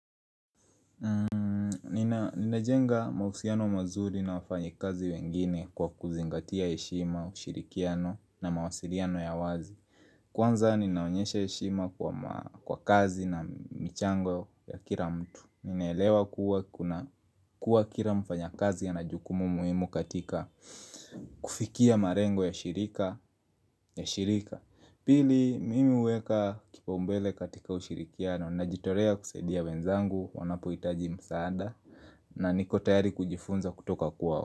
Ninajenga mahusiano mazuri na wafanyikazi wengine kwa kuzingatia heshima, ushirikiano na mawasiliano ya wazi Kwanza ninaonyesha heshima kwa kazi na michango ya kila mtu ninaelewa kuwa kuwa kila mfanyakazi ana jukumu muhimu katika kufikia malengo ya shirika ya shirika Pili mimi huweka kipau mbele katika ushirikiano najitolea kusaidia wenzangu wanapohitaji msaada na niko tayari kujifunza kutoka kuwa wa.